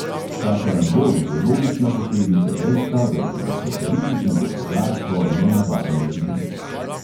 Ta karambol je logična posledica dejstva, da je bilo socialistično gospodarstvo nenavaden hibrid.